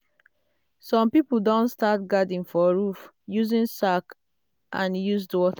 some people don start garden for roof using sack and used water.